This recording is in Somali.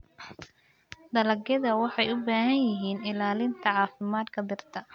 Dalagyadu waxay u baahan yihiin ilaalinta caafimaadka dhirta.